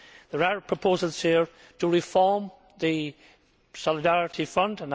There are proposals here to reform the Solidarity Fund.